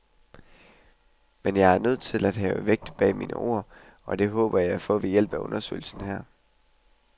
Men jeg er nødt til at have vægt bag mine ord, og det håber jeg at få ved hjælp af undersøgelsen her.